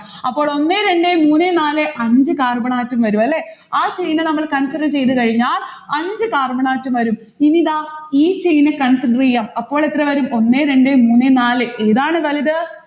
അപ്പോൾ ഒന്നേ രണ്ടേ മൂന്നേ നാലേ അഞ്ചു carbon atom വരും അല്ലെ? ആ chain നമ്മൾ consider ചെയ്ത കഴിഞ്ഞാൽ അഞ്ചു carbon atom വരും. ഇനി ഇതാ ഈ chain consider ചെയ്യാം അപ്പോൾ എത്ര വരും? ഒന്നേ രണ്ടേ മൂന്നേ നാല്. ഏതാണ് വലുത്?